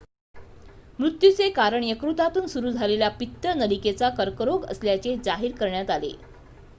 मृत्यूचे कारण यकृतातून सुरू झालेला पित्त नलिकेचा कर्करोग असल्याचे जाहीर करण्यात आले